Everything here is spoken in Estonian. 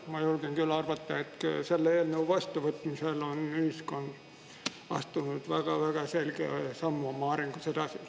Ma julgen küll arvata, et selle eelnõu vastuvõtmisel on ühiskond astunud väga-väga selge sammu oma arengus edasi.